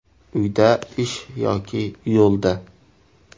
– uyda, ish yoki yo‘lda”.